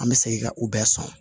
An bɛ segin ka u bɛɛ sɔn